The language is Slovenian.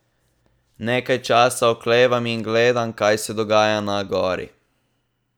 Nekaj časa oklevam in gledam, kaj se dogaja na gori.